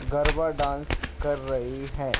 Garba dance कर रही है।